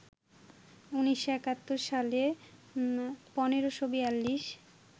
১৯৭১ সালে ১৫৪২